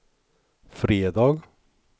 fredag